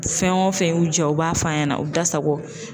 Fɛn o fɛn y'u diya u b'a f'a ɲɛna u da sago